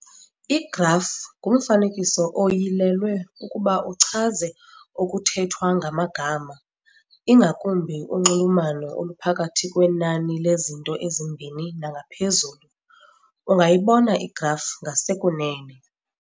Igraf ngumfanekiso oyilelwe ukuba uchaze okuthethwa ngamagama, ingakumbi unxulumano oluphakathi kwenani lezinto ezimbini nangaphezulu. ungayibona igraf ngasekunene.